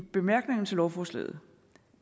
bemærkningerne til lovforslaget